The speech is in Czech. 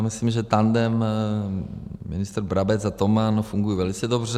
Já myslím, že tandem ministr Brabec a Toman funguje velice dobře.